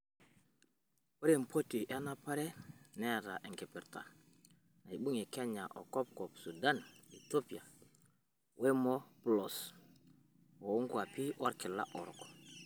Ore empoti enapare neeta enkipirta naibungia Kenya o Kopkop Sudan, Ethiopia wemoplos oonguapi olkila orok.